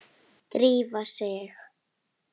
Drífa sig